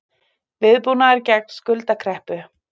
Viðbúnaður gegn skuldakreppu